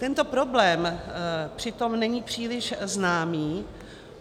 Tento problém přitom není příliš známý.